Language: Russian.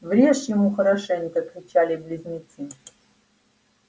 врежь ему хорошенько кричали близнецы